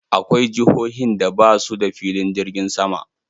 Akwai jihohin da ba su da filin jirgin sama.